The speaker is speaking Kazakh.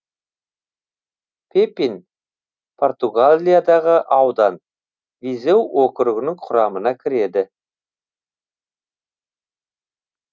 пепин португалиядағы аудан визеу округінің құрамына кіреді